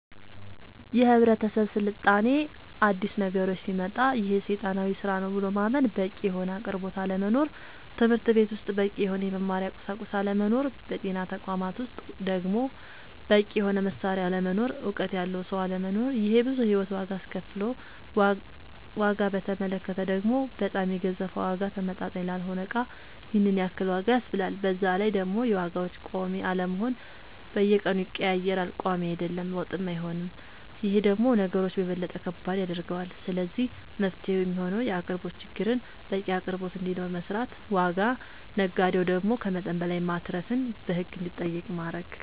የህብረተሰብ ስልጣኔ አዲስ ነገሮች ሲመጣ ይሄ ሴጣናዊ ስራ ነው ብሎ ማመን በቂ የሆነ አቅርቦት አለመኖር ትምህርትቤት ውስጥ በቂ የሆነ የመማሪያ ቁሳቁስ አለመኖር በጤና ተቋማት ውስጥ ደሞ በቂ የሆነ መሳሪያ አለመኖር እውቀት ያለው ሰው አለመኖር ይሄ ብዙ የሂወት ዋጋ አስከፍሎል ዋጋ በተመለከተ ደሞ በጣም የገዘፈ ዋጋ ተመጣጣኝ ላልሆነ እቃ ይሄንን ያክል ዋጋ ያስብላል በዛላይ ደሞ የዋጋዎች ቆሚ አለመሆን በየቀኑ ይቀያየራል ቆሚ አይደለም ወጥም አይሆንም ይሄ ደሞ ነገሮች የበለጠ ከባድ ያደርገዋል ስለዚህ መፍትሄው የሚሆነው የአቅርቦት ችግርን በቂ አቅርቦት እንዲኖር መስራት ዋጋ ነጋዴው ደሞ ከመጠን በላይ ማትረፍን በህግ እንዲጠየቅ ማረግ